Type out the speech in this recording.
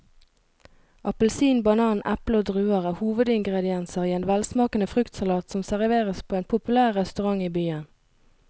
Appelsin, banan, eple og druer er hovedingredienser i en velsmakende fruktsalat som serveres på en populær restaurant i byen.